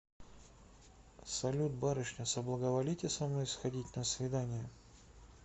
салют барышня соблаговолите со мной сходить на свидание